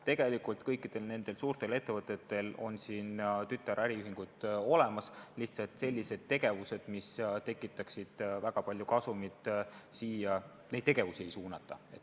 Tegelikult kõikidel suurtel ettevõtetel on siin tütaräriühingud olemas, lihtsalt selliseid tegevusi, mis tekitaksid väga palju kasumit, siia ei suunata.